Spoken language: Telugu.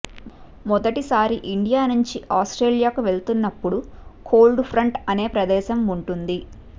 మొదటిసారి ఇండియా నుంచి ఆస్ట్రేలియాకు వెళ్తున్నప్పుడు కోల్డ్ఫ్రంట్ అనే ప్రదేశం ఉంటుంది